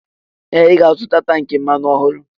Ee! Ị ga-azụta tankị mmanụ ọhụrụ.